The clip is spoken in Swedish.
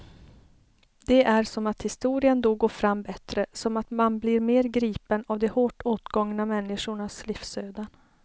Det är som att historien då går fram bättre, som att man blir mer gripen av de hårt åtgångna människornas livsöden.